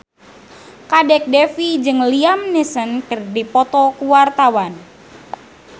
Kadek Devi jeung Liam Neeson keur dipoto ku wartawan